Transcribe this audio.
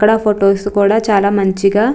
అక్కడ ఫొటోస్ కూడా చాలా మంచిగా --